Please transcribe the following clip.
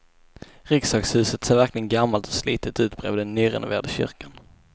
Riksdagshuset ser verkligen gammalt och slitet ut bredvid den nyrenoverade kyrkan.